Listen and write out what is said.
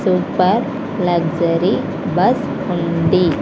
Super luxury bus ఉంది.